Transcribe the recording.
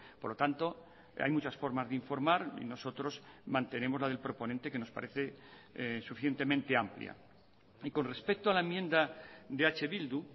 por lo tanto hay muchas formas de informar y nosotros mantenemos la del proponente que nos parece suficientemente amplia y con respecto a la enmienda de eh bildu